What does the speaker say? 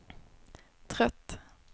trött